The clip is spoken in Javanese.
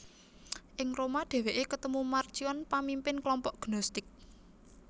Ing Roma dhèwèké ketemu Marcion pamimpin klompok Gnostik